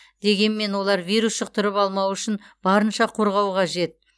дегенмен олар вирус жұқтырып алмауы үшін барынша қорғау қажет